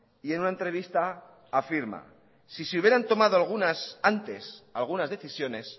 y en una entrevista afirma si se hubieran tomado algunas antes algunas decisiones